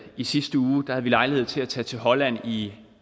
i sidste uge lejlighed til at tage til holland i et